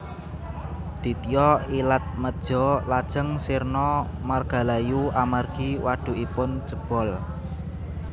Ditya Ilatmeja lajeng sirna margalayu amargi wadhukipun jebol